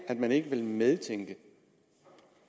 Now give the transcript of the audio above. man ikke vil medtænke